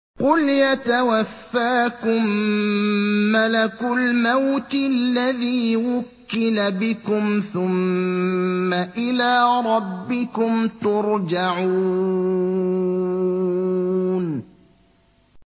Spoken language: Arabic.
۞ قُلْ يَتَوَفَّاكُم مَّلَكُ الْمَوْتِ الَّذِي وُكِّلَ بِكُمْ ثُمَّ إِلَىٰ رَبِّكُمْ تُرْجَعُونَ